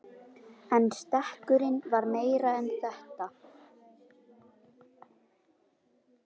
En stekkurinn var meira en þetta.